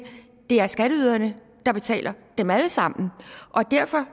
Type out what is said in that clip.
det er skatteyderne der betaler dem alle sammen og derfor